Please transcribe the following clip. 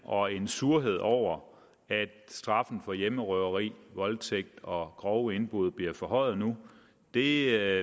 og en surhed over at straffen for hjemmerøveri voldtægt og grove indbrud bliver forhøjet nu det er